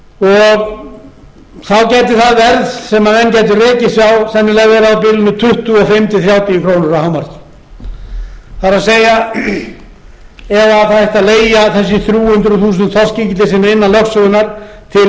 það verð sem menn gætu rekið sig á sennilega verið á bilinu tuttugu og fimm til þrjátíu krónur að hámarki það er ef það ætti að leigja þessi þrjú hundruð þúsund þorskígildi sem eru innan lögsögunnar til